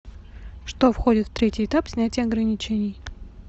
что входит в третий этап снятия ограничений